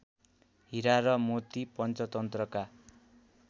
हीरा र मोती पञ्चतन्त्रका